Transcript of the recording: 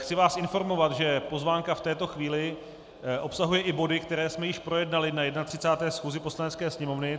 Chci vás informovat, že pozvánka v této chvíli obsahuje i body, které jsme již projednali na 31. schůzi Poslanecké sněmovny.